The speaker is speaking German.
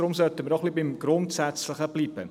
Deswegen sollten wir beim Grundsätzlichen bleiben.